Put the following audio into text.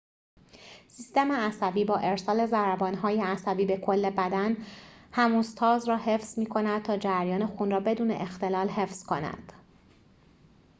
سیستم عصبی با ارسال ضربان‌های عصبی به کل بدن هموستاز را حفظ می کند تا جریان خون را بدون اختلال حفظ کند